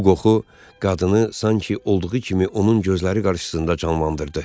Bu qoxu qadını sanki olduğu kimi onun gözləri qarşısında canlandırırdı.